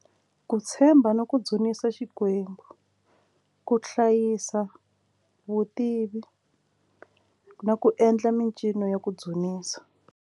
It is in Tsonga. Ku tshemba ni ku dzunisa Xikwembu ku hlayisa vutivi na ku endla mincino ya ku dzunisa.